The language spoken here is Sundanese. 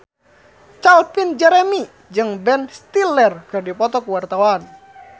Calvin Jeremy jeung Ben Stiller keur dipoto ku wartawan